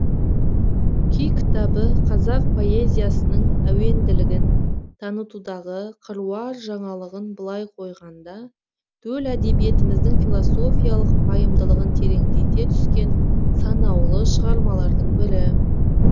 күй кітабы қазақ поэзиясының әуенділігін танытудағы қыруар жаңалығын былай қойғанда төл әдебиетіміздің философиялық пайымдылығын тереңдете түскен санаулы шығармалардың бірі